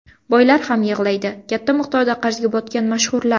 Boylar ham yig‘laydi: Katta miqdorda qarzga botgan mashhurlar.